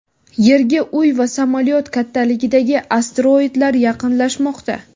Yerga uy va samolyot kattaligidagi asteroidlar yaqinlashmoqda.